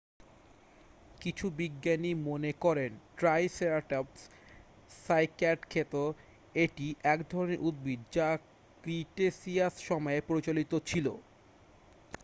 কিছু বিজ্ঞানী মনে করেন ট্রাইসেরাটপস সাইক্যাড খেত এটি এক ধরণের উদ্ভিদ যা ক্রিটেসিয়াস সময়ে প্রচলিত ছিল